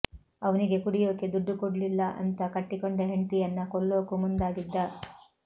ಅವ್ನಿಗೆ ಕುಡಿಯೋಕೆ ದುಡ್ಡು ಕೊಡ್ಲಿಲ್ಲಾ ಅಂತಾ ಕಟ್ಟಿಕೊಂಡ ಹೆಂಡ್ತಿಯನ್ನ ಕೊಲ್ಲೋಕೂ ಮುಂದಾಗಿದ್ದ